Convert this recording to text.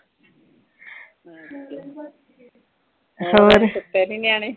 ਸੂਤੇ ਨਹੀਂ ਨਿਆਣੇ